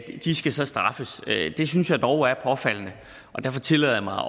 skal så straffes det synes jeg dog er påfaldende derfor tillader jeg mig